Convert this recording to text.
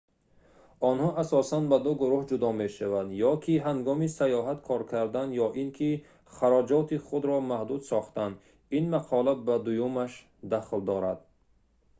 онҳо асосан ба ду гурӯҳ ҷудо мешаванд ё ки ҳангоми саёҳат кор кардан ё ин ки хароҷоти худро маҳдуд сохтан ин мақола ба дуюмаш дахл дорад